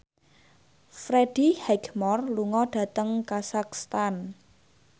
Freddie Highmore lunga dhateng kazakhstan